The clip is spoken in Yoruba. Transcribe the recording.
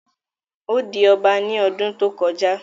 Ó di ọba ní ọdún tó kọjá